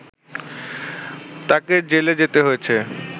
তাকে জেলে যেতে হয়েছে